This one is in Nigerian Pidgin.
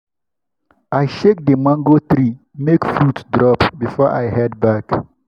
i shake the mango tree make fruits drop before i head back.